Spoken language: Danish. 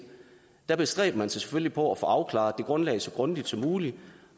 der bestræber man sig selvfølgelig på at få afklaret det grundlag så grundigt som muligt